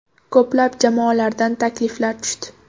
Ko‘plab jamoalardan takliflar tushdi.